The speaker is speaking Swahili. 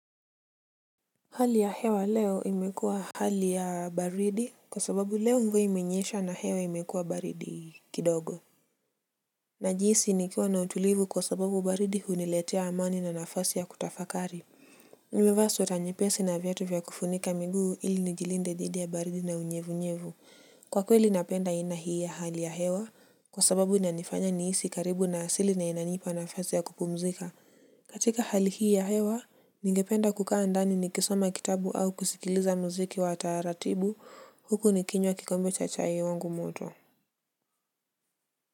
Hali ya hewa leo imekuwa hali ya baridi kwa sababu leo mvua imenyesha na hewa imekuwa baridi kidogo. Najihisi nikiwa na utulivu kwa sababu baridi huniletea amani na nafasi ya kutafakari. Nimevaa sweta nyepesi na viatu vya kufunika miguu ili nijilinde dhidi ya baridi na unyevu-nyevu. Kwa kweli napenda aina hii ya hali ya hewa kwa sababu inanifanya nihisi karibu na asili na inanipa nafasi ya kupumzika. Katika hali hii ya hewa, ningependa kukaa ndani nikisoma kitabu au kusikiliza muziki wa taratibu huku nikinywa kikombe cha chai wangu moto.